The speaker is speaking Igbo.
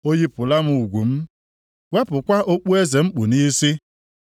O yipụla m ugwu m, wepụkwa okpueze m kpu nʼisi.